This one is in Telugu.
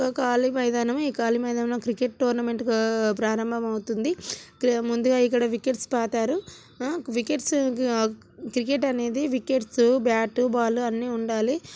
ఓ కాళీ మైదానం ఈ కాళీ మైదానంలో క్రికెట్ టోర్నమెంట్ ప్రారంభమైతున్నది ఇక్కడ ముందుగా ఇక్కడ వికెట్స్ పాతారు ఆ వికెట్స్ క్రికెట్ అనేది వికెట్స్ బ్యాటు బాలు అన్నీ ఉండాలి.